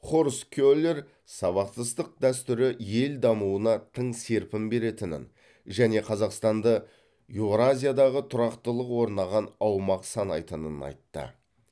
хорст келер сабақтастық дәстүрі ел дамуына тың серпін беретінін және қазақстанды еуразиядағы тұрақтылық орнаған аумақ санайтынын айтты